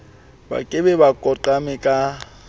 ba ke ba koqame ka